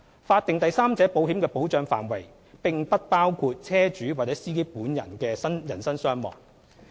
法定第三者保險的保障範圍，並不包括車主或司機本人的人身傷亡。